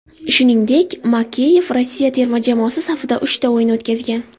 Shuningdek, Makeyev Rossiya terma jamoasi safida uchta o‘yin o‘tkazgan.